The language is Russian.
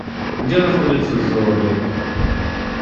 где находится зоодоктор